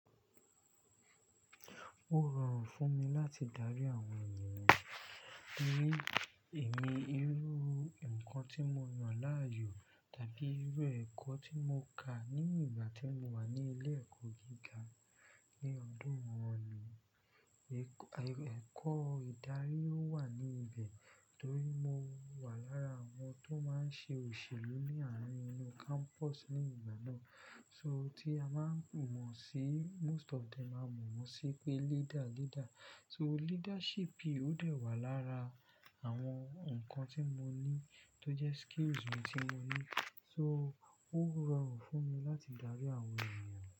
Ó rọrùn fún mi láti darí àwọn ènìyàn, torí èmi rí irú nǹkan tí mo yàn láàyò tàbí irú ẹ̀kọ́ tí mo kà ní ìgbà tí mo wà ní ilé ẹ̀kọ́ gíga ní ọdún wọ̀nyí. Ẹ̀kọ́ ìdarí ó wà ní ibẹ̀ torí mo wà lára àwọn tó máa ń ṣe òṣèlú ní àárín inú campus ní ìgbà náà. So tí a máa ń mọ̀ sí, most of them máa mọ̀ sí pé leader, leader. So leadership ò dẹ̀ wà lára àwọn nǹkan tí mo ní tó jẹ́ skills mi tí mo ní. So ó rọrùn fún mi láti darí àwọn ènìyàn.